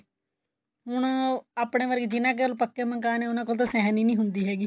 ਹੁਣ ਆਪਣੇ ਵਰਗੇ ਜਿਹਨਾ ਕੋਲ ਪੱਕੇ ਮਕਾਨ ਨੇ ਉਹਨਾ ਕੋਲ ਤਾਂ ਸਹਿਣ ਈ ਨੀ ਹੁੰਦੀ ਹੈਗੀ